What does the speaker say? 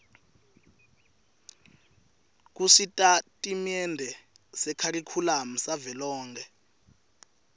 kusitatimende sekharikhulamu savelonkhe